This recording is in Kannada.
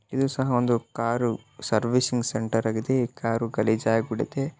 ಇದು ಸಹ ಒಂದು ಕಾರು ಸರ್ವಿಸಿಂಗ್ ಸೆಂಟರ್ ಆಗಿದೆ ಕಾರು ಗಲೀಜಾಗಿ ಬಿಡುತ್ತೆ.